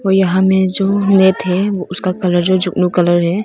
वो यहां में जो में थे उसका कलर जो जुगनू कलर है।